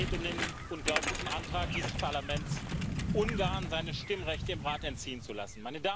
Es geht um den unglaublichen Antrag dieses Parlaments, Ungarn seine Stimmrechte im Rat entziehen zu lassen.